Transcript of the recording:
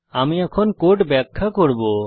আমি এখন কোড ব্যাখ্যা করব